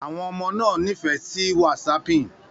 Àwọn ọmọ náà nífẹ̀ẹ́ sí whatsapping